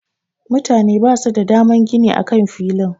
Mutane basu da daman gini a kan filin.